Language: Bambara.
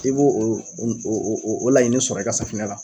I b'o o o laɲini sɔrɔ i ka safunɛ na